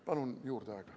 Palun aega juurde!